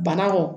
Banakɔ